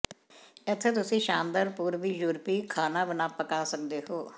ਇੱਥੇ ਤੁਸੀਂ ਸ਼ਾਨਦਾਰ ਪੂਰਬੀ ਯੂਰਪੀ ਖਾਣਾ ਪਕਾ ਸਕਦੇ ਹੋ